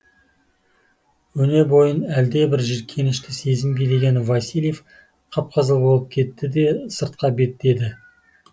өне бойын әлдебір жиіркенішті сезім билеген васильев қып қызыл болып кетті де сыртқа беттеді